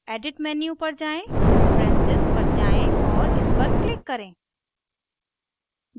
edit menu पर जाएँ preferences preferences पर जाएँ और इस पर click करें